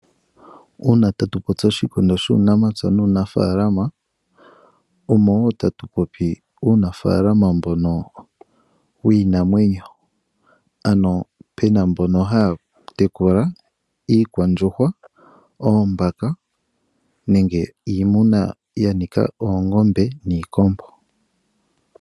Uuna tatu popi oshikindo shu namapya nuunimuna, omo wo moka tatu popi uunafalama mbonowiinamwenyo, ano puna mboka haya tekula iikwandjuhwa, oombaka nenge iimuna ngashi oongombe niikombo.